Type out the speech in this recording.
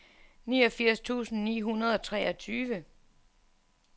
niogfirs tusind ni hundrede og treogtyve